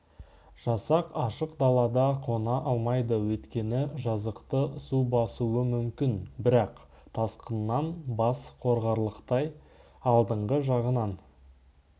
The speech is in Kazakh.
жасақ ашық далада қона алмайды өйткені жазықты су басуы мүмкін бірақ тасқыннан бас қорғарлықтай алдыңғы жағынан